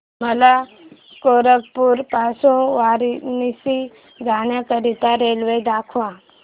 मला गोरखपुर पासून वाराणसी जाण्या करीता रेल्वे दाखवा